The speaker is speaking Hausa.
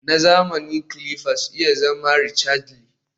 Na zamani clippers iya zama rechargely